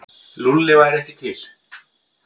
Lúlli væri ekki til.